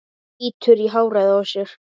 Bítur í hárið á sér.